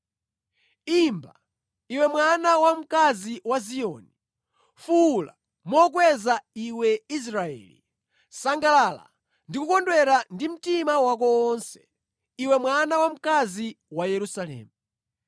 Imba, iwe mwana wamkazi wa Ziyoni; fuwula mokweza, iwe Israeli! Sangalala ndi kukondwera ndi mtima wako wonse, iwe mwana wamkazi wa Yerusalemu!